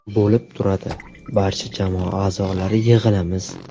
Bo‘lib turadi, barcha jamoa a’zolari yig‘ilamiz.